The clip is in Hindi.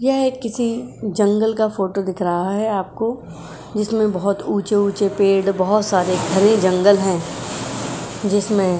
यह किसी जंगल का फ़ोटो दिख रहा है आपको| जिसमें बहोत ऊंचे-ऊंचे पेड़ बहोत सारे घने जंगल हैं| जिसमें --